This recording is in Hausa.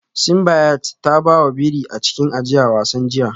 Simbiat ta ba wa biri a cikin ajiyar wasan jiya